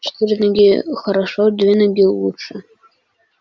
четыре ноги хорошо две ноги лучше